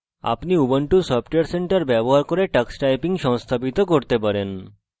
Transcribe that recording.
আপনি ubuntu software centre ব্যবহার করে tux typing সংস্থাপিত করতে পারেন